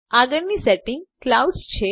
આગળ ની સેટિંગ Cloudsછે